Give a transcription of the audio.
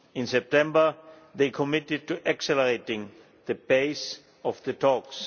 In September they committed to accelerating the pace of the talks.